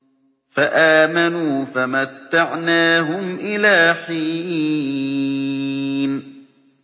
فَآمَنُوا فَمَتَّعْنَاهُمْ إِلَىٰ حِينٍ